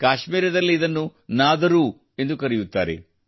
ಕಾಶ್ಮೀರದಲ್ಲಿ ಇದನ್ನು ನಾದರೂ ಎಂದು ಕರೆಯುತ್ತಾರೆ